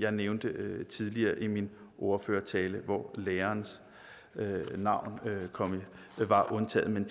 jeg nævnte tidligere i min ordførertale hvor lærerens navn var undtaget men